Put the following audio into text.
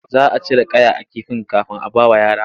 Za a cire kaya a kifin kafin a bawa yara.